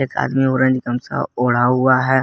साथ में ऑरेंज गमछा ओढ़ा हुआ है।